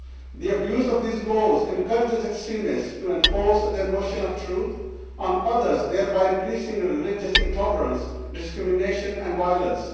The abuse of these laws encourages extremists to enforce their notion of truth on others, thereby increasing religious intolerance, discrimination and violence.